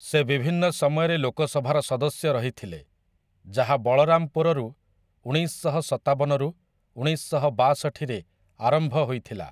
ସେ ବିଭିନ୍ନ ସମୟରେ ଲୋକସଭାର ସଦସ୍ୟ ରହିଥିଲେ, ଯାହା ବଳରାମପୁରରୁ ଉଣେଇଶଶହ ସତାବନରୁ ଉଣେଇଶଶହ ବାଷଠିରେ ଆରମ୍ଭ ହୋଇଥିଲା ।